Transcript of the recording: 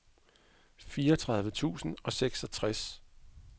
fireogtredive tusind og seksogtres